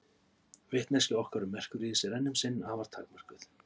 Vitneskja okkar um Merkúríus er enn um sinn afar takmörkuð.